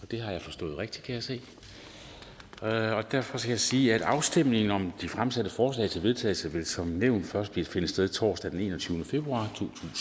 det har jeg forstået rigtigt kan jeg se derfor skal jeg sige at afstemning om de fremsatte forslag til vedtagelse som nævnt først vil finde sted torsdag den enogtyvende februar